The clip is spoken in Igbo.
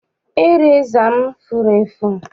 Ireza m furu efu.